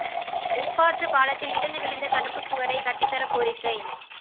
உப்பாற்று பாலத்தில் இடிந்து விழுந்த தடுப்புச் சுவரை கட்டித் தர கோரிக்கை